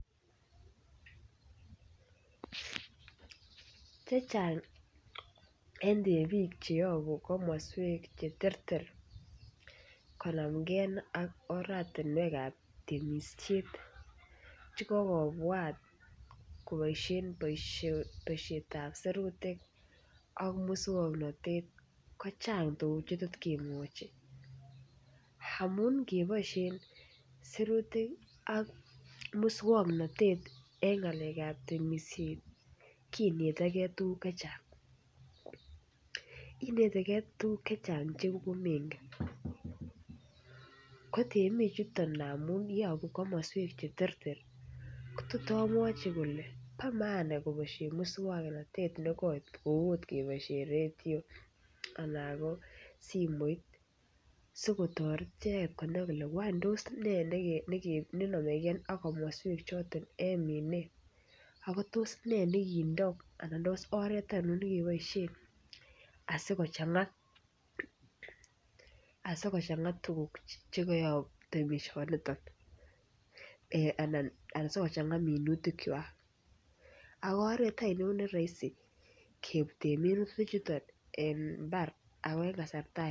Chechang en temik Che yobu komoswek Che terter konamge ak oratinwek ab temisiet Che kokobwat koboisien boisiet ab serutik ak moswoknatet ko chang tuguk Che tot kemwochi amun ngeboisien sirutik ak moswoknatet en ngalekab temisiet kinete ge tuguk Che Chang inete tuguk Che Chang Che komengen kotemichuto amun yobu komoswek Che terter ko tot amwachi kole bo maana moswoknatet ne koit kou okot keboisien radio anan ko simoit asi kotoret icheget konai kole tos ne nomegei ak komoswechoto nemine ako tos ne nekindo anan tos oret ainon ne keboisien asi kochanga tuguk Che kayob temisiet niton anan asi kochanga minutik ako oret ainon neroisi kebuten minutichuton en mbar ako en kasarta ainon